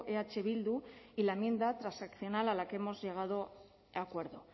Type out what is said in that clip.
eh bildu y la enmienda transaccional a la que hemos llegado a acuerdo